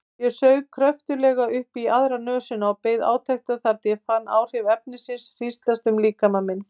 Ég saug kröftuglega upp í aðra nösina og beið átekta þar til ég fann áhrif efnisins hríslast um líkama minn.